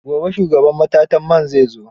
Gobe shugaban matatar man zai zo.